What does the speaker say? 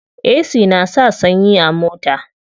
Ac na sa sanyi a mota.